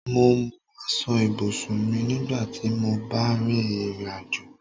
Mo mú aṣọ ibùsùn mi nígbà tí mó bá ń rìn ìrìnàjò